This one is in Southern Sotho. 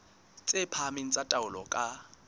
tse phahameng tsa taolo ka